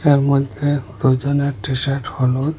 এর মধ্যে দুজনের টিশার্ট হলুদ।